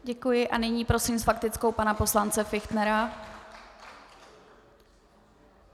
Děkuji a nyní prosím s faktickou pana poslance Fichtnera.